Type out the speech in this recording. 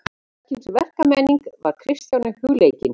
Hvers kyns verkmenning var Kristjáni hugleikin.